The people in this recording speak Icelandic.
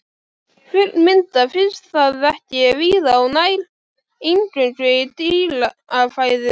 Fullmyndað finnst það ekki víða og nær eingöngu í dýrafæðu.